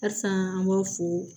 Halisa an b'a fɔ